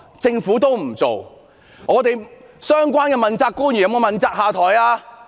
政府相關的問責官員有沒有問責下台呢？